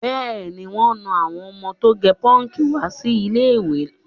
Bẹ́ẹ̀ni, wọn nà àwọ́n ọmọ tó gẹ pọ́ǹkì wá sí ilé-ìwé.